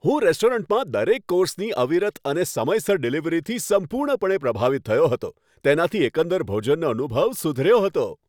હું રેસ્ટોરન્ટમાં દરેક કોર્સની અવિરત અને સમયસર ડિલિવરીથી સંપૂર્ણપણે પ્રભાવિત થયો હતો, તેનાથી એકંદર ભોજનનો અનુભવ સુધર્યો હતો.